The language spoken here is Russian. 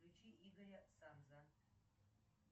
включи игоря санза